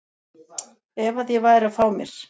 ef að ég væri að fá mér.